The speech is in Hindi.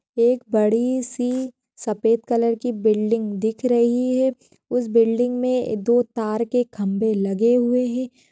एक बड़ी सी सफ़ेद कलर की बिल्डिंग दिख रही है। उस बिल्डिंग मे दो तार के खंबे लगे हुए है।